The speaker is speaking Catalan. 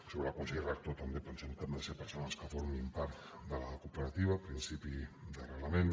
sobre el consell rector també pensem que han de ser persones que formin part de la cooperativa principi d’arrelament